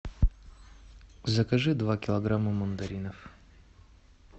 закажи два килограмма мандаринов